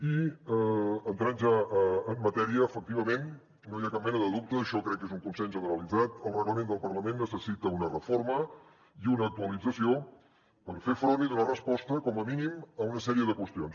i entrant ja en matèria efectivament no hi ha cap mena de dubte això crec que és un consens generalitzat el reglament del parlament necessita una reforma i una actualització per fer front i donar resposta com a mínim a una sèrie de qüestions